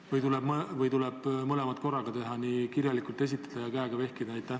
Või tuleb teha mõlemat korraga, nii kirjalikult esitada kui ka käega vehkida?